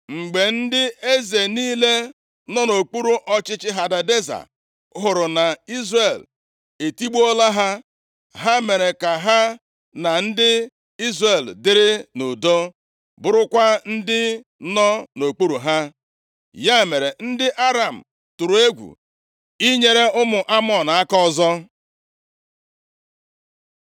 Mgbe ndị eze niile nọ nʼokpuru ọchịchị Hadadeza hụrụ na Izrel etigbuola ha, ha mere ka ha na ndị Izrel dịrị nʼudo, bụrụkwa ndị nọ nʼokpuru ha. Ya mere, ndị Aram tụrụ egwu inyere ụmụ Amọn aka ọzọ.